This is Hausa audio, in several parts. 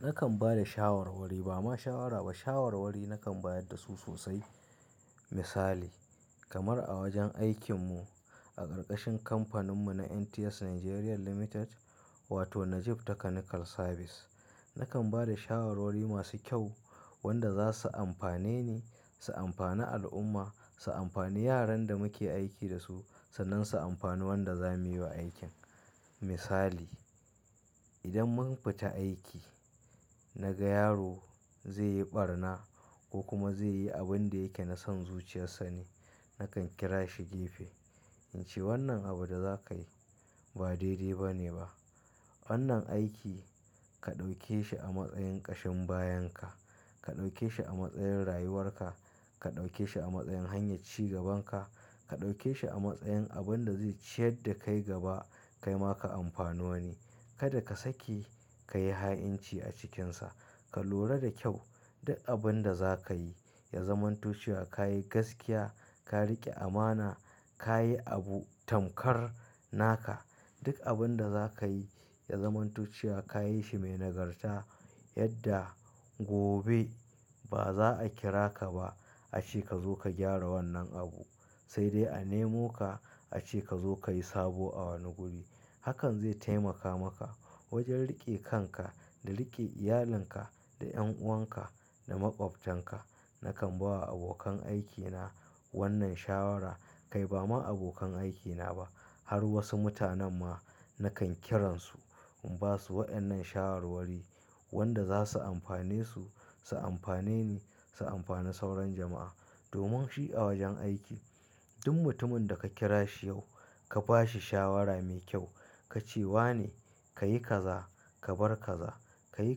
Nakan ba da shawarwari ba ma shawara ba shawarwari nakan bayar da su sosai. Misali kamar a wajen aikin mu a ƙarƙashin kamfanin mu na NTS Nigeria Limited wato Najib Technical Service. Nakan ba da shawarwari masu kyau wanda za su amfane ni, su amfani al'umma, su amfani yaran da muke aiki da su, sannan su amfanin wanda zamu yi wa aikin. Misali idan mun fita aiki naga yaro zai yi ɓarna ko kuma zai yi abin da yake na son zuciyarsa ne, nakan kira shi gefe in ce wannan abu da za ka yi ba daidai ba ne ba. Wannan aiki ka ɗauke shi a matsayin ƙashin bayan ka, ka ɗauke shi a matsayin rayuwar ka, ka ɗauke shi a matsayin hanyar ci gaban ka, ka ɗauke shi a matsayin abin da zai ciyar da kai gaba kaima ka amfani wani Kada ka sake ka yi ha'inci a cikinsa. Ka lura da kyau duk abun da za ka yi ya zamanto cewa kayi gaskiya, ka riƙe amana, ka yi abu tamkar naka. Duk abun da za ka yi ya zama tuchiya ka yi shi mai nagarta yadda gobe ba za a kira ka ba ace ka zo ka gyara wannan abu sai dai a nemo ka ace ka zo ka yi sabo a wani guri. Hakan zai taimaka maka wajen riƙe kanka da riƙe iyalinka da 'yan'uwan ka da maƙwabtan ka. Nakan ba wa abokan aikina wannan shawara kai ba ma abokan aikina ba har wasu mutanen ma nakan kiransu in ba su wa ƴannan shawarwari wanda za su amfane su, su amfane ni, su amfane sauran jama'a. Domin shi a wajen aiki duk mutumin da ka kira shi yau ka ba shi shawara mai kyau ka ce wa ne ka yi kaza, ka bar kaza, ka yi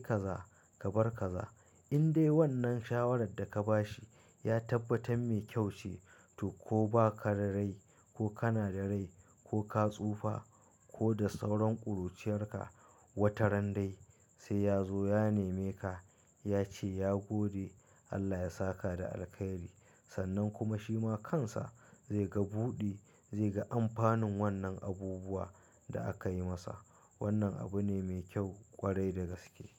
kaza, ka bar kaza. In dai wannan shawarar da ka ba shi ya tabbatar mai kyau ce to ko ba ka da rai ko kana da rai ko ka tsufa ko da sauran ƙuruciyar ka wataran dai sai ya zo ya neme ka ya ce ya gode Allah ya saka da alkhairi. Sannan kuma shi ma kansa zai ga buɗi, zai ga amfanin wannan abubuwa da aka yi masa. Wannan abu ne mai kyau ƙwarai da gaske.